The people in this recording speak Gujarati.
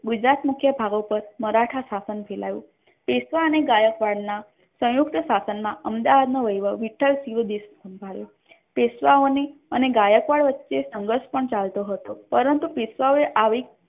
ગુજરાત મુખ્ય ભાગોપર મરાઠા શાસન ફેલાયુ પેશવા અને ગાયકવાડ ના સયુંકત શાસન મા અમદાવાદ નો વહીવટ વિઠ્ઠલ સીયુડીશી એ સાંભળ્યો પેશ્વાઓની અને ગાયકવાડ વચ્ચે સંઘર્ષ પણ ચાલતો હતો પરંતુ પેશ્વાઓ એ આવી.